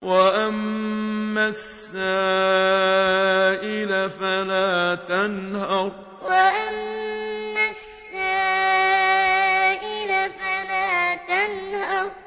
وَأَمَّا السَّائِلَ فَلَا تَنْهَرْ وَأَمَّا السَّائِلَ فَلَا تَنْهَرْ